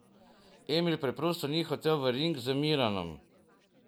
Emil preprosto ni hotel v ring z Miranom.